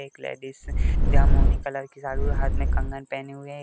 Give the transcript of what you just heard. एक लेडीज जहाँ कलर की हाथ में कंगन पहने हुए है।